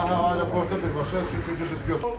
Hə, aeroporta birbaşa, çünki biz götürürük.